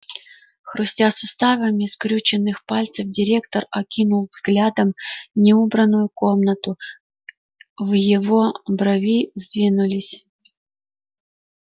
хрустя суставами скрюченных пальцев директор окинул взглядом неубранную комнату в его брови сдвинулись